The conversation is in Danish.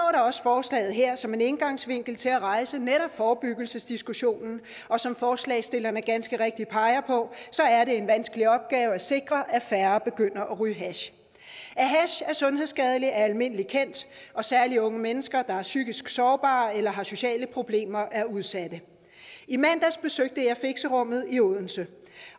også forslaget her som en indgangsvinkel til at rejse netop forebyggelsesdiskussionen for som forslagsstillerne ganske rigtigt peger på er det en vanskelig opgave at sikre at færre begynder at ryge hash at hash er sundhedsskadeligt er almindeligt kendt og særlig unge mennesker der er psykisk sårbare eller har sociale problemer er udsatte i mandags besøgte jeg fixerummet i odense